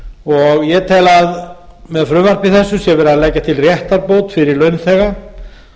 og ég tel að með með frumvarpi þessu sé verið að leggja til réttarbót fyrir launþega